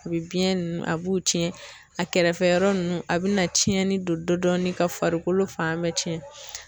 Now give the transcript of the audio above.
A bi biɲɛ nunnu a b'u tiɲɛ a kɛrɛfɛyɔrɔ nunnu a bɛna tiɲɛni don dɔɔni ka farikolo fan bɛɛ tiɲɛn.